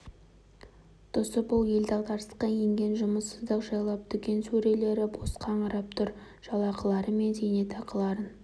тұсы бұл ел дағдарысқа енген жұмыссыздық жайлап дүкен сөрелері бос қаңырап тұр жалақылары мен зейнетақыларын